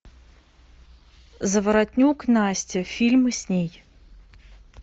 заворотнюк настя фильмы с ней